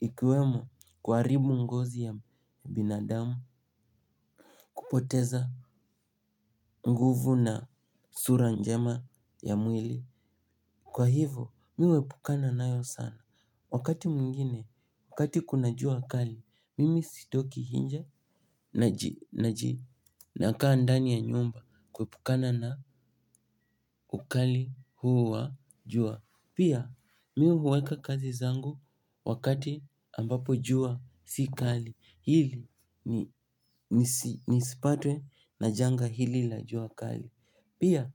Ikiwemo kuharibu ngozi ya binadamu. Kupoteza nguvu na sura njema ya mwili. Kwa hivo, mi huepukana nayo sana. Wakati mwingine, wakati kuna jua kali, mimi sitoki nje nakaa ndani ya nyumba kuepukana na ukali huu wa jua. Pia, mi huweka kazi zangu wakati ambapo jua si kali, hili nisipatwe na janga hili la jua kali. Pia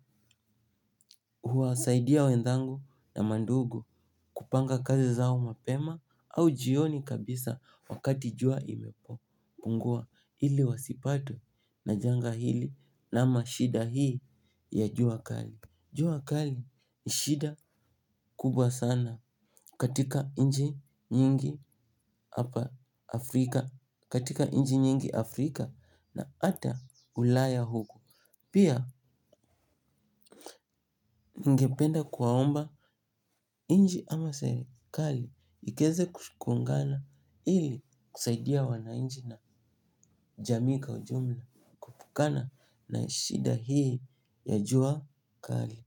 huwasaidia wenzangu na mandugu kupanga kazi zao mapema au jioni kabisa wakati jua imepo. Pungua ili wasipatwe na janga hili ama shida hii ya jua kali. Jua kali ni shida kubwa sana katika nchi nyingi hapa Afrika. Katika nchi nyingi Afrika na hata ulaya huku. Pia ningependa kuwaomba nchi ama serikali ikeze kuungana ili kusaidia wananchi na jamii kwa ujumla kana na shida hii ya jua kali.